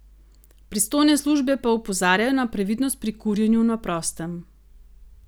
Pristojne službe pa opozarjajo na previdnost pri kurjenju na prostem.